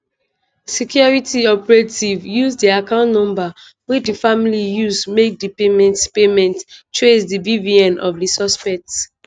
security operatives use di account number wey di family use make di payment payment trace di bvn of di suspect.